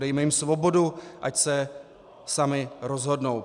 Dejme jim svobodu, ať se sami rozhodnou.